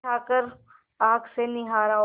उठाकर आँख से निहारा और